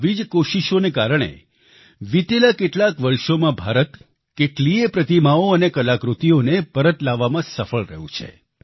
આવી જ કોશિશોને કારણે વિતેલા કેટલાક વર્ષોમાં ભારત કેટલીયે પ્રતિમાઓ અને કલાકૃતિઓને પરત લાવવામાં સફળ રહ્યું છે